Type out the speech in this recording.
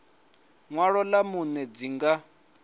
ṅwalo ḽa vhuṋe dzi nga